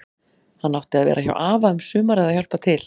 Hann átti að vera hjá afa um sumarið að hjálpa til.